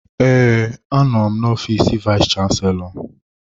Ee, anọ m n'ofiis vayis chansilọ.